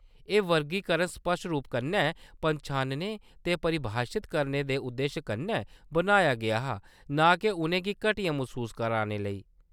एह्‌‌ वर्गीकरण स्पश्ट रूप कन्नै पन्छानने ते परिभाशत करने दे उद्देश कन्नै बनाया गेआ हा ना के उʼनें गी घटिया मसूस कराने लेई।